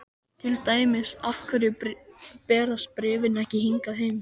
Til dæmis þessi: Af hverju berast bréfin ekki hingað heim?